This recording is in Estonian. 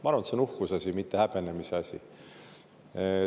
Ma arvan, et see on uhkuse asi, mitte häbenemise asi.